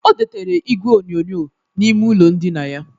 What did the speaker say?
O dotere igwe onyonyo n'ime ụlọ ndịna ya